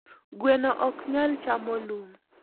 gweno oknyal chamo lum